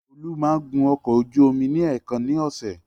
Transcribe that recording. Olú máa ń gun ọkọ ojú omi ní èèkan ni ọ̀sẹ̀.